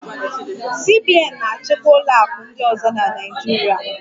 CBN na-achịkwa ụlọ akụ ndị ọzọ na Naịjirịa